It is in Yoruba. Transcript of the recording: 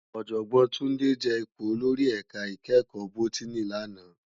Òjògbòn Tunde je ipó ólórì èká ikèékò bótìní làná